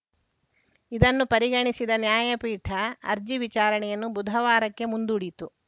ಇದನ್ನು ಪರಿಗಣಿಸಿದ ನ್ಯಾಯಪೀಠ ಅರ್ಜಿ ವಿಚಾರಣೆಯನ್ನು ಬುಧವಾರಕ್ಕೆ ಮುಂದೂಡಿತು